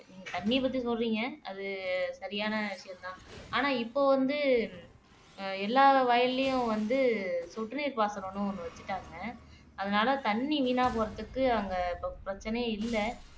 நீங்க தண்ணிய பத்தி சொல்றீங்க அது சரியான விஷயம் தான் ஆனா இப்போ வந்து எல்லார் வயல்லையும் வந்து சொட்டு நீர் பாசனம்ன்னு ஒண்ணு வச்சுட்டாங்க அதனாலே தண்ணி வீணா போறதுக்கு அங்கே இப்போ பிரச்சனையே இல்ல